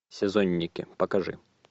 сезонники покажи